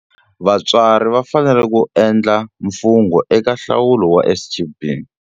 Vatswari va fanele ku endla mfungho eka nhlawulo wa SGB.